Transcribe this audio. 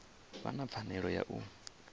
vha na pfanelo ya u